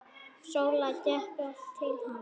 Sóla gekk til hans.